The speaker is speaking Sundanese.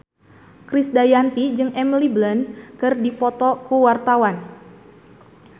Krisdayanti jeung Emily Blunt keur dipoto ku wartawan